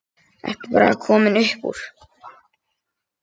Ertu bara komin upp úr?